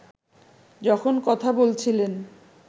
যখন কথা বলছিলেন